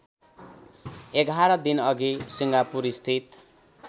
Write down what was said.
११ दिनअघि सिङ्गापुरस्थित